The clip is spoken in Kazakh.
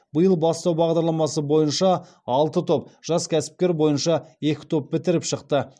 биыл бастау бағдарламасы бойынша алты топ жас кәсіпкер бойынша екі топ бітіріп шықты